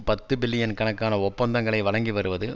பத்து பில்லியன் கணக்கான ஒப்பந்தங்களை வழங்கி வருவது